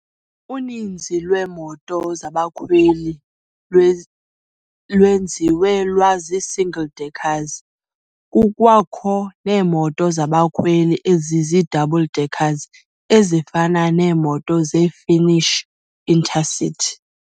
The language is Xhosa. Uninzi lweemoto zabakhweli lwenziwe lwazi- single-deckers- kukwakho neemoto zabakhweli ezizii-double-decker, ezifana neemoto ze-Finnish Inter-City.